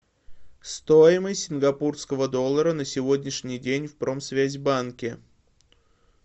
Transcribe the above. стоимость сингапурского доллара на сегодняшний день в промсвязьбанке